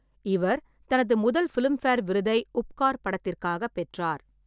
இவர் தனது முதல் ஃபிளிம்ஃபேர் விருதை உப்கார் படத்திற்காகப் பெற்றார்.